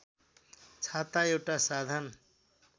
छाता एउटा साधन